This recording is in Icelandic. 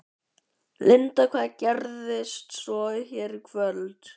Linda: Hvað gerist svo hér í kvöld?